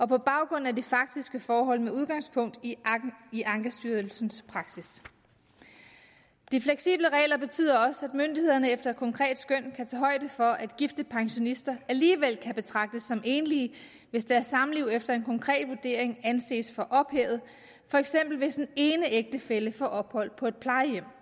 på baggrund af de faktiske forhold med udgangspunkt i ankestyrelsens praksis de fleksible regler betyder også at myndighederne efter et konkret skøn kan højde for at gifte pensionister alligevel kan betragtes som enlige hvis deres samliv efter en konkret vurdering anses for ophævet for eksempel hvis den ene ægtefælle får ophold på et plejehjem